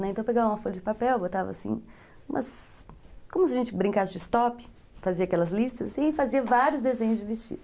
Então, eu pegava uma folha de papel, botava assim, como se a gente brincasse de stop, fazia aquelas listas e fazia vários desenhos de vestido.